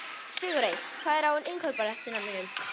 Sigurey, hvað er á innkaupalistanum mínum?